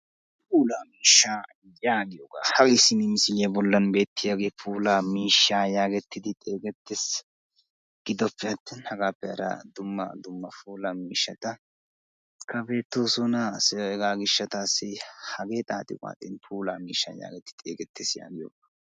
Puulla miishshaa yaagiyogga, hage simi misiliyaa bollan beettiyagge puulla miishshaa yaagettidi xeegeyttes. Giddoppe atin hagaappe hara dumma dumma puulaa miishshata bettoosona hagee xaaxxi waxing puulla miishshaa gettettidi xeeggettees.